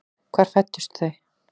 Hvar fæddust þau?